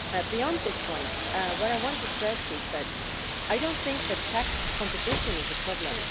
Beyond this point, what I want to stress is that I do not think that tax competition is a problem.